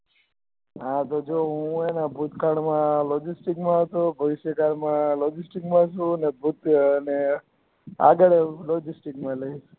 હા તો જો હું હે ને ભૂતકાળ મા logistics મા હતો ભવિષ્યકાળ મા logistics મા છુ અને ભૂત અને આગળ logistics મા રહુ